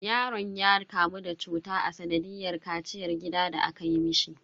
Yaron ya kamu da cuta a sanadiyar kaciyar gida da aka yi mishi.